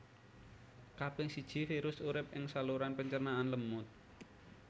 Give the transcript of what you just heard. Kaping siji virus urip ing saluran pencernaan lemut